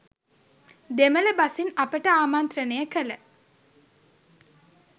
දෙමළ බසින් අපට ආමන්ත්‍රණය කළ